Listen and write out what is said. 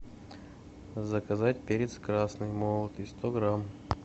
заказать перец красный молотый сто грамм